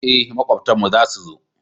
eh makwabtan mu za su zo